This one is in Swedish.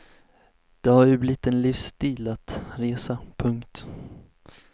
Det har ju blivit en livsstil en resa. punkt